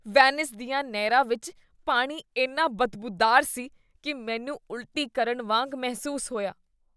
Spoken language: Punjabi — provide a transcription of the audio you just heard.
ਵੇਨਿਸ ਦੀਆਂ ਨਹਿਰਾਂ ਵਿੱਚ ਪਾਣੀ ਇੰਨਾ ਬਦਬੂਦਾਰ ਸੀ ਕੀ ਮੈਨੂੰ ਉਲਟੀ ਕਰਨ ਵਾਂਗ ਮਹਿਸੂਸ ਹੋਇਆ।